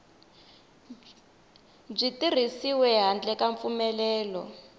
byi tirhisiwi handle ka mpfumelelo